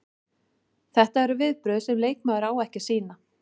Þetta eru viðbrögð sem leikmaður á ekki að sýna.